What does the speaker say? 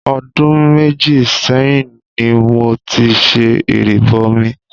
Ọdún méjì sẹ́yìn ní mo ti ṣe ìrìbọmi.